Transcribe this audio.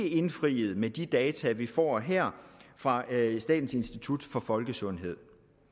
indfriet med de data vi får her fra statens institut for folkesundhed